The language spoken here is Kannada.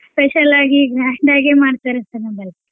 Special ಆಗಿ grand ಆಗೇ ಮಾಡ್ತಾರೇ sir ನಮ್ಮಲ್ಲೇ.